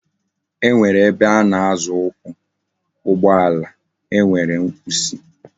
E nwere ebe ana Azo ukwu, ugbo ala e were kwusi